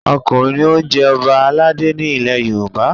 Ọkùnrin ni ó ń jẹ Ọba aládé ni ilẹ̀ Yorùbá!